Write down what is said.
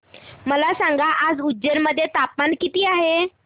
मला सांगा आज उज्जैन मध्ये तापमान किती आहे